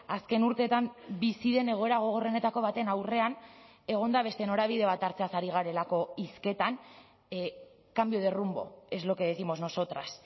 azken urteetan bizi den egoera gogorrenetako baten aurrean egonda beste norabide bat hartzeaz ari garelako hizketan cambio de rumbo es lo que décimos nosotras